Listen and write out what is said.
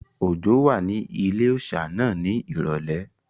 Òjó wà ní ilé-òòsà náà ní ìrọ̀lẹ́